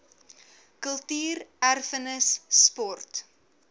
kultuur erfenis sport